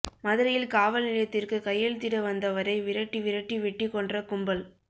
மதுரையில் காவல் நிலையத்திற்கு கையெழுத்திட வந்தவரை விரட்டி விரட்டி வெட்டிக் கொன்ற கும்பல்